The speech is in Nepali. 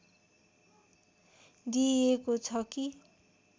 दिइएको छ कि